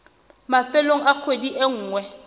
mafelong a kgwedi e nngwe